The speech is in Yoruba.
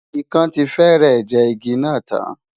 Ikán ti fẹ́rẹ̀ jẹ igi náà tán.